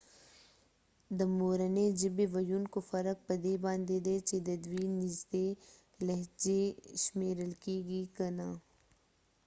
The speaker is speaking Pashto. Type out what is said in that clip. د مورنی ژبی ويونکو فرق په دي باندي دي چې ددوي نږدې لهچې شمیرل کېږی که نه